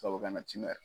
Tubabu kana tiɲɛ yɛrɛ